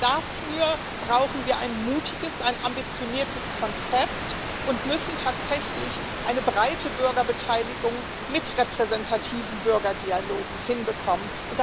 Aber dafür brauchen wir ein mutiges, ein ambitioniertes Konzept und müssen tatsächlich eine breite Bürgerbeteiligung mit repräsentativen Bürgerdialogen hinbekommen.